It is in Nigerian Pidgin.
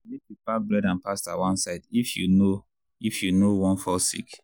make you park bread and pasta one side if you no if you no wan fall sick.